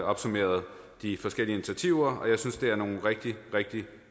opsummeret de forskellige initiativer og jeg synes at det er nogle rigtig rigtig